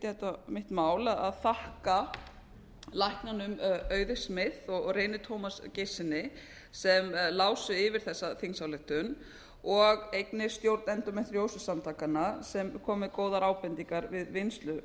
flytja mitt mál að þakka læknunum auði smith og reyni tómasi geirssyni sem lásu yfir þessa þingsályktun og einnig stjórnendum ljósusamtakanna sem komu með góðar ábendingar við vinnslu